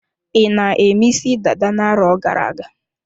I na-eme isi dada na-arọ gara-aga?